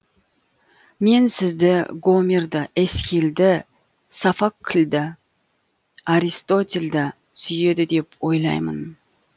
мен сізді гомерді эсхильді софокльді аристотельді сүйеді деп ойлаймын